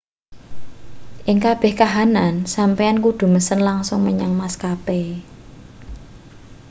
ing kabeh kahanan sampeyan kudu mesen langsung menyang maskape